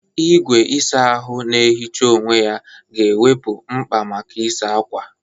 Igwe ịsa ahụ na-ehicha onwe ya ga-ewepụ mkpa maka ịsa ákwà.